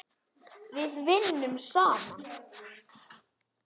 Við vinnum saman!